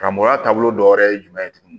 Karamɔgɔya taabolo dɔ wɛrɛ ye jumɛn ye tuguni